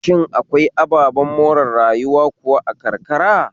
Shin akwai ababen more rayuwa kuwa a karkara?